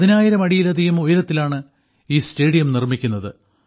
പതിനായിരം അടിയിലധികം ഉയരത്തിലാണ് ഈ സ്റ്റേഡിയം നിർമ്മിക്കുന്നത്